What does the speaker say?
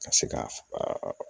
Ka se ka